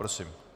Prosím.